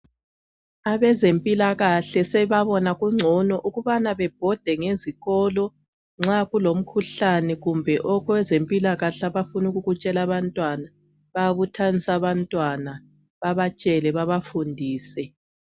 abezempilakahle seba bona kungcono ukuthi bebhode ngezikolo nxakulo mkhuhlane kumbe okwezempilakahle abafuna ukukutshela abantwana bayaba buthanisa bebatshele babafundise.